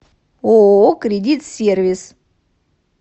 ооо кредит сервис